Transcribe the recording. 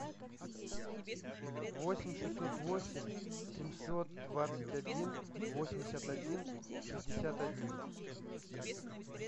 восемь шестьсот восемь семьсот двадцать один восемьдесят один шестьдесят один